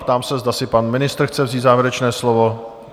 Ptám se, zda si pan ministr chce vzít závěrečné slovo?